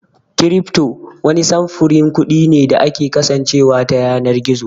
Cryfto wani samfurin kuɗi ne da ke kasancewa ta yanar gizo